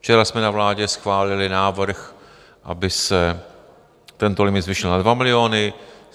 Včera jsme na vládě schválili návrh, aby se tento limit zvýšil na dva miliony.